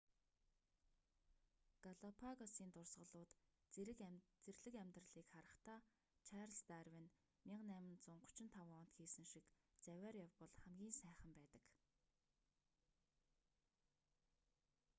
галапагосын дурсгалууд зэрлэг амьдралыг харахдаа чарльз дарвин 1835 онд хийсэн шиг завиар явбал хамгийн сайхан байдаг